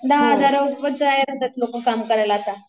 दहा हजारावर लोकं तयार होतात काम करायला होता.